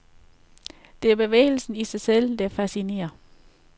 Det er bevægelsen i sig selv, der fascinerer.